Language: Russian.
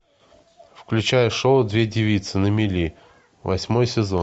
включай шоу две девицы на мели восьмой сезон